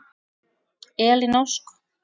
Elín Ósk.